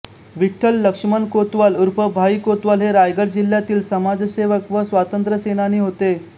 विठ्ठल लक्ष्मण कोतवाल उर्फ भाई कोतवाल हे रायगड जिल्ह्यातील समाजसेवक व स्वातंत्र्यसेनानी होते